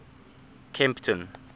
kempton